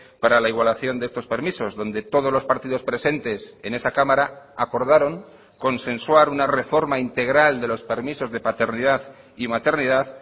para la igualación de estos permisos donde todos los partidos presentes en esa cámara acordaron consensuar una reforma integral de los permisos de paternidad y maternidad